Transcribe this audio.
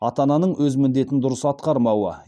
ата ананың өз міндетін дұрыс атқармауы